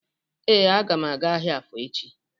Ee, agam aga ahịa afọ echi